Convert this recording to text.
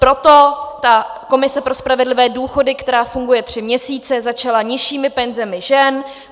Proto ta komise pro spravedlivé důchody, která funguje tři měsíce, začala nižšími penzemi žen.